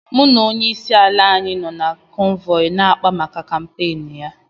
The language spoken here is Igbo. Mụ na onyeisi ala anyị nọ na kọ́nvọyi ya na akpá maka kàmpéénu ya